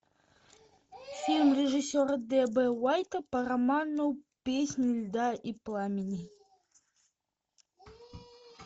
фильм режиссера д б уайта по роману песнь льда и пламени